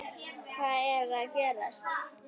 HVAÐ ER AÐ GERAST?